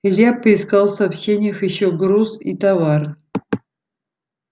илья поискал в сообщениях ещё груз и товар